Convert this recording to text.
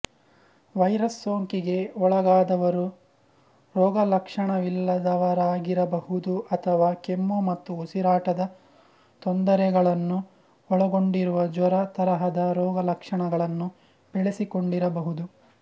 virus ಸೋಂಕಿಗೆ ಒಳಗಾದವರು ರೋಗಲಕ್ಷಣವಿಲ್ಲದವರಾಗಿರಬಹುದು ಅಥವಾ ಕೆಮ್ಮು ಮತ್ತು ಉಸಿರಾಟದ ತೊಂದರೆಗಳನ್ನು ಒಳಗೊಂಡಿರುವ ಜ್ವರ ತರಹದ ರೋಗಲಕ್ಷಣಗಳನ್ನು ಬೆಳೆಸಿಕೊಂಡಿರಬಹುದು